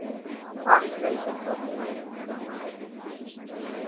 ಹಾ ಸರಿ ಸರಿ okay bye .